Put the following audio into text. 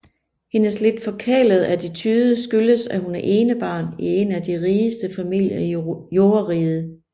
Hendes lidt forkælede attitude skyldes at hun er enebarn i en af de rigeste familier i Jordriget